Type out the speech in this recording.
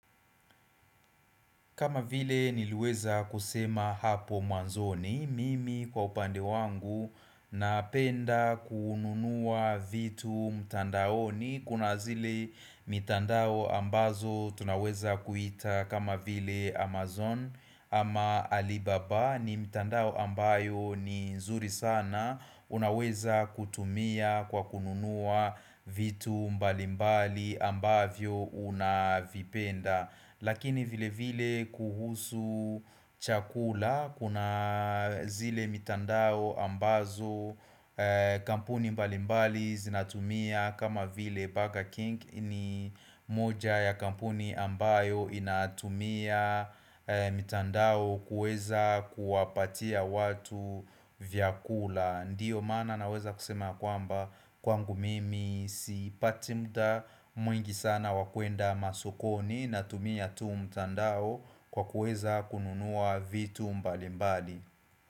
Kama vile niliweza kusema hapo mwanzoni, mimi kwa upande wangu napenda kununua vitu mtandaoni, kuna zile mtandao ambazo tunaweza kuita kama vile Amazon ama Alibaba ni mtandao ambayo ni nzuri sana, unaweza kutumia kwa kununua vitu mbalimbali ambavyo unavipenda. Lakini vile vile kuhusu chakula kuna zile mitandao ambazo kampuni mbali mbali zinatumia kama vile Burger King ni moja ya kampuni ambayo inatumia mitandao kuweza kuwapatia watu vyakula. Ndiyo maana naweza kusema kwamba kwangu mimi sipati muda mwingi sana wa kuenda masokoni na tumia tu mtandao kwa kuweza kununua vitu mbali mbali.